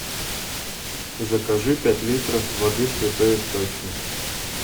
закажи пять литров воды святой источник